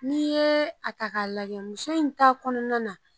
N'i ye a ta k'a lajɛ muso in ta kɔnɔna na